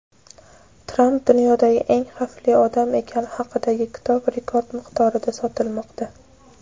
Tramp "dunyodagi eng xavfli odam" ekani haqidagi kitob rekord miqdorda sotilmoqda.